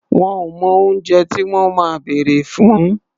Wọn ò mọ oúnjẹ tí wọ́n máa bèrè fún.